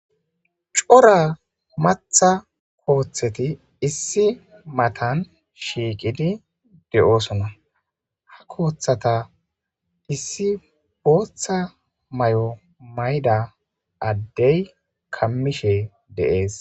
cora matha kooththeti issi matan shiiqidi de7oosona ha kooththata issi booththa may7o mayda addey kammishe deees